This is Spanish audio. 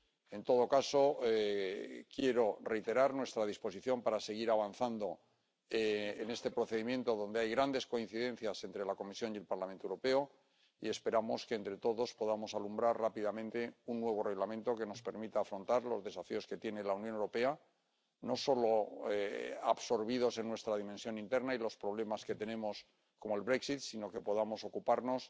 En todo caso, quiero reiterar nuestra disposición para seguir avanzando en este procedimiento, donde hay grandes coincidencias entre la Comisión y el Parlamento Europeo, y esperamos que entre todos podamos alumbrar rápidamente un nuevo Reglamento que nos permita afrontar los desafíos que tiene la Unión Europea, no solo absorbidos en nuestra dimensión interna y los problemas que tenemos, como el Brexit sino que podamos ocuparnos